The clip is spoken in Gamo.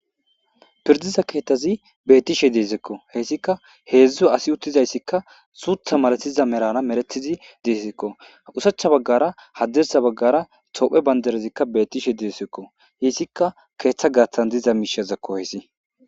Pirdiza keetazi beetishe dezeko haysika hedzu asi uttizayssika suutha malatiza merara meretizi dezeko oshachcha baggara hadirssa baggara tophiya bandirazika beetishe dezeko haysika keetha gaathan diza miishazako hayssi.